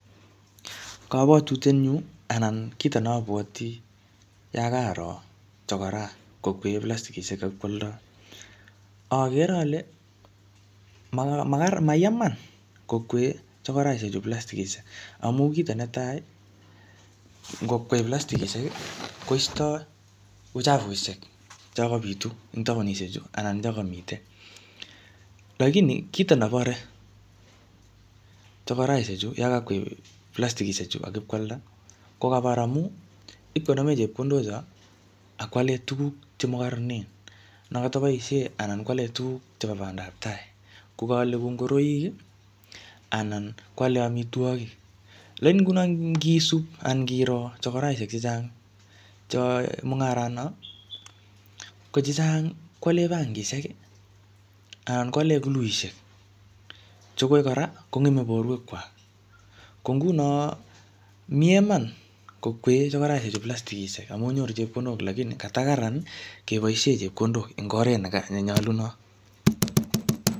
Kobwotutiet nyu, anan kito ne abwoti, yakaro chokora kokwee plastikishek ak ipkwoldoi, akere ale makarar mayaa iman kokwee chokoraishek chu plastikishek. Amu kito netai, ngokwei plastikishek, koistoi uchafushek cho kabitu eng taonishek chu, anan choko mitei. Lakini kito nebore chokoraishek chu, yokokwei plastikishek chu ak ipkwalda, ko kabar amu ipkwale tuguk che makarararen. Ne kataboisie anan kwale tuguk chebo bandaptai. Ko kaale kou ngoroik, anan kwale amitwogik. Lakini nguno ngisub, anan ngiro chokoraishek chechang cheae mung'arat not, ko chechang kole bangishek, anan kwale kuluishek, che koi kora, kong'eme borwek kwak. Ko nguno, miee iman kokwee chokoraishek chu plastikishek amu nyoru chepkondok. Lakini katakararan keboisie chepkondok eng oret ne ne nyolunot